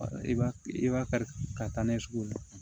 I b'a i b'a kari ka taa n'a ye sugu la